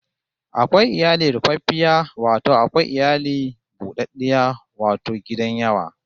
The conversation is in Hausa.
Akwai iyali rufaffiya wato akwai iyali bu ɗaɗɗiya wato gidan yawa